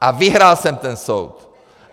A vyhrál jsem ten soud!